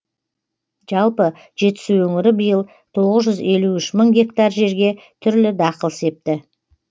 жалпы жетісу өңірі биыл тоғыз жүз елу үш мың гектар жерге түрлі дақыл септі